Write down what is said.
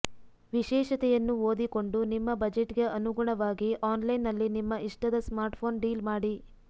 ವಿಶೇಷತೆಯನ್ನು ಓದಿಕೊಂಡು ನಿಮ್ಮ ಬಜೆಟ್ಗೆ ಅನುಗುಣವಾಗಿ ಆನ್ಲೈನ್ನಲ್ಲಿ ನಿಮ್ಮ ಇಷ್ಟದ ಸ್ಮಾರ್ಟ್ಫೋನ್ ಡೀಲ್ ಮಾಡಿ